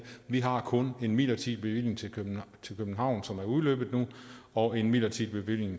vi har kun en midlertidig bevilling til københavns universitet som er udløbet nu og en midlertidig bevilling